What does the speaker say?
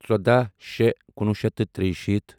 ژۄداہ شےٚ کُنوُہ شیٚتھ تہٕ ترٛیہِ شیٖتھ